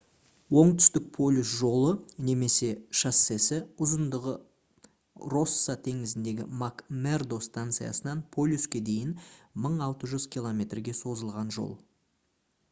оңтүстік полюс жолы немесе шоссесі – ұзындығы росса теңізіндегі мак-мердо станциясынан полюске дейін 1600 км-ге созылған жол